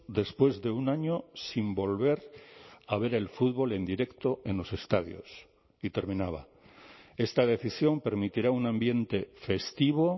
después de un año sin volver a ver el fútbol en directo en los estadios y terminaba esta decisión permitirá un ambiente festivo